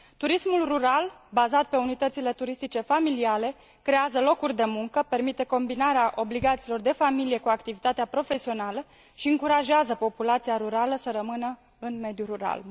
Turismul rural bazat pe unități turistice familiale creează locuri de muncă, permite combinarea obligațiilor de familie cu activitatea profesională și încurajează populația rurală să rămână în mediul rural.